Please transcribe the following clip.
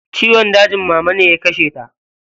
Ciwon dajin mama ne ya kashe ta.